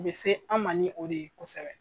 U bɛ se an ma ni o de ye kosɛbɛ.